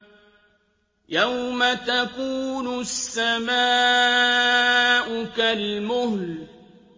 يَوْمَ تَكُونُ السَّمَاءُ كَالْمُهْلِ